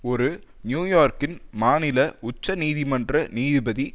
ஒரு நியூயோர்க்கின் மாநில உச்ச நீதிமன்ற நீதிபதி